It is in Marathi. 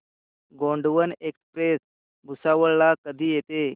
गोंडवन एक्सप्रेस भुसावळ ला कधी येते